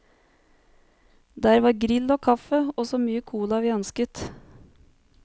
Der var grill og kaffe og så mye cola vi ønsket.